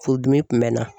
Furudimi kun bɛn na